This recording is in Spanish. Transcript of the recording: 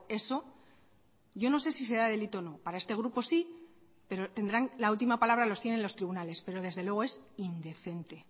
eso yo no sé si será delito o no para este grupo sí pero tendrán la última palabra los tienen los tribunales pero desde luego es indecente